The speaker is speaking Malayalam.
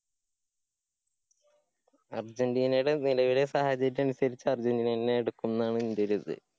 അര്‍ജന്‍റീനടെ നിലവിലെ സാഹചര്യം അനുസരിച്ച് അര്‍ജന്റീനന്നെ ഇടുക്കും ന്നാണ് ന്‍ടെരു ത്.